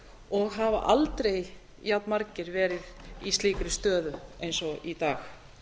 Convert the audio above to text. og hafa aldrei jafnmargir verið í slíkri stöðu eins og í dag